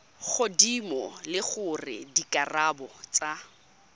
godimo le gore dikarabo tsa